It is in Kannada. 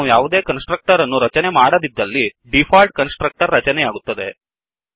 ನಾವು ಯಾವುದೇ ಕನ್ಸ್ ಟ್ರಕ್ಟರ್ ಅನ್ನು ರಚನೆ ಮಾಡದಿದ್ದಲ್ಲಿ ಡಿಫಾಲ್ಟ್ ಕನ್ಸ್ ಟ್ರಕ್ಟರ್ ರಚನೆಯಾಗುತ್ತದೆ